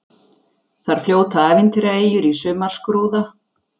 Þar fljóta ævintýraeyjur í sumarskrúða.